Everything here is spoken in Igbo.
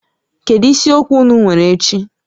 Kedu isiokwu ụnụ nwere echi?